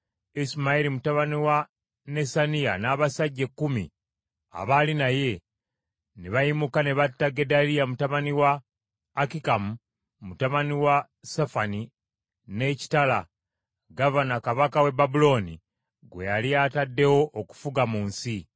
Isimayiri mutabani wa Nesaniya n’abasajja ekkumi abaali naye ne bayimuka ne batta Gedaliya, mutabani wa Akikamu, mutabani wa Safani, n’ekitala, gavana, kabaka w’e Babulooni gwe yali ataddewo okufuga mu nsi.